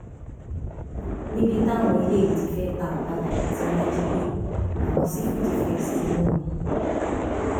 níbi táwọn eléyìí ti fẹẹ ta ọkadà tí wọn jí gbé làwọn sífù dìfẹǹsì ti mú wọn